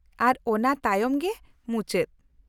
-ᱟᱨ ᱚᱱᱟ ᱛᱟᱭᱚᱢ ᱜᱮ ᱢᱩᱪᱟᱹᱫ?